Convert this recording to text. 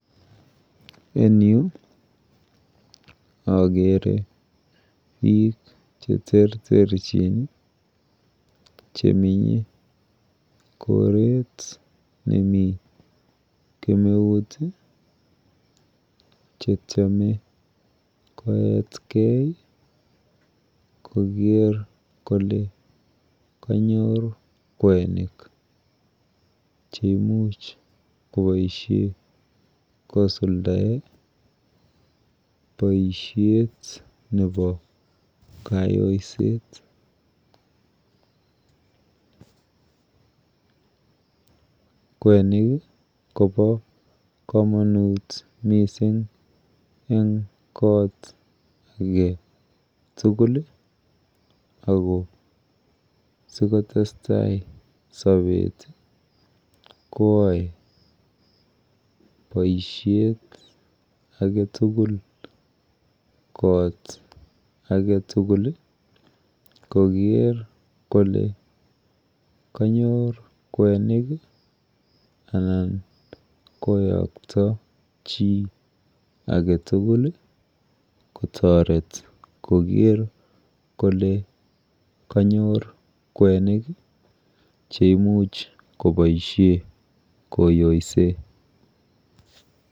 En Yu agere bik cheterterchin cheminkoret nemi kemeut chetyeme koyet gei Koger Kole kanyor kwenik cheimuch kobaishen kosuldaen baishet nebokayooset kwenik Koba kamanut mising en kot age tugulagobaikotestai Sabet koyae baishet agetugul kot agetugul Koger Kole kanyor kwenik anan koyakta chi agetugul kotaret Koger Kole kanyor kwenik cheimuch kobaishen koyoisen